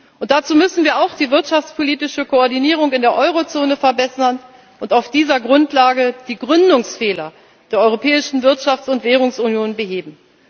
Und dazu müssen wir auch die wirtschaftspolitische Koordinierung in der Eurozone verbessern und auf dieser Grundlage die Gründungsfehler der europäischen Wirtschafts und Währungsunion beheben.